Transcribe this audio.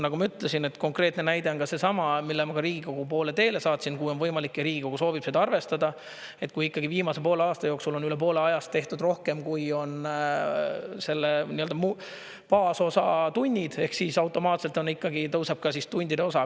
Nagu ma ütlesin, et konkreetne näide on seesama, mille ma ka Riigikogu poole teele saatsin, kuhu on võimalik ja Riigikogu soovib seda arvestada, et kui ikkagi viimase poole aasta jooksul on üle poole ajast tehtud rohkem, kui on baasosa tunnid, ehk siis automaatselt tõuseb ka tundide osa.